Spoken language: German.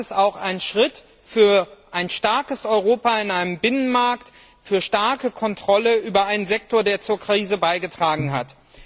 Das ist auch ein Schritt für ein starkes Europa in einem Binnenmarkt, für starke Kontrolle über einen Sektor, der zur Krise beigetragen hat.